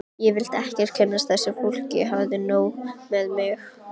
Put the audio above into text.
Ég vildi ekkert kynnast þessu fólki, hafði nóg með mig.